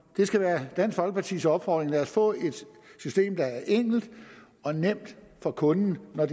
skal være dansk folkepartis opfordring lad os få et system der er enkelt og nemt for kunden når